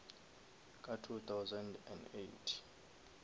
ka two thousand and eight